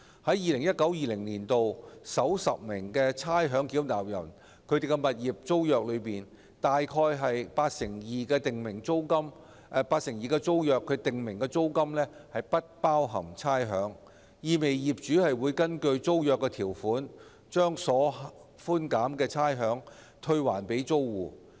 在 2019-2020 年度獲差餉寬減最多的首10名差餉繳納人訂立的物業租約中，約八成二訂明租金不包含差餉，意味業主會根據租約條款把獲寬減的差餉退還租戶。